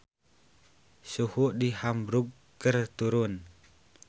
Suhu di Hamburg keur turun